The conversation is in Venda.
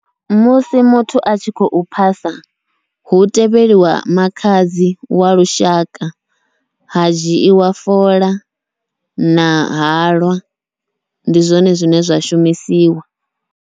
Musi muthu a tshi khou phasa, hu tevheliwa makhadzi wa lushaka ha dzhiiwa fola na halwa, ndi zwone zwine zwa shumisiwa.